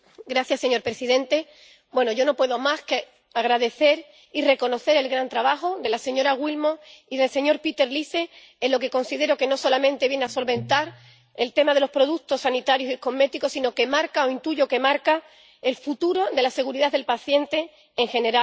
Señor presidente, yo no puedo más que agradecer y reconocer el gran trabajo de la señora Willmott y del señor Peter Liese en lo que considero que no solamente viene a solventar el tema de los productos sanitarios y cosméticos, sino que marca —o intuyo que marca— el futuro de la seguridad del paciente en general.